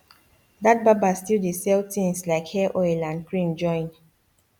that barber still dey sell tins like hair oil and cream join